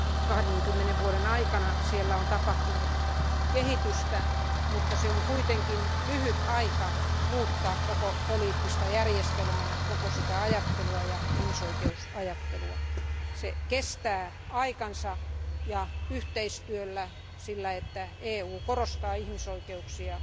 20 vuoden aikana siellä on tapahtunut kehitystä, mutta se on kuitenkin lyhyt aika muuttaa koko poliittista järjestelmää, koko ajattelutapaa ja ihmisoikeusajattelua. Se kestää aikansa ja vaatii yhteistyötä, sitä että EU korostaa ihmisoikeuksia